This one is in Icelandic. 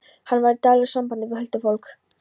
Hann var í daglegu sambandi við huldufólk.